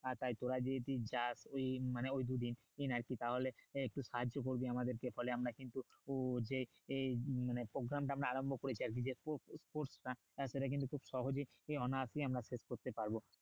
আহ তাই তোরা যদি ওই দিন যাস ওই মানে ওই দু দিন আরকি তাহলে একটু সাহায্য করবি আমাদেরকে ফলে আমরা কিন্তু যে মানে program টা আমরা আরম্ভ করেছি আরকি যে খুব সেটা কিন্তু খুব সহজেই অনায়াসেই আমরা শেষ করতে পারবো